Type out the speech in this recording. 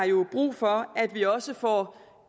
jo brug for at vi også får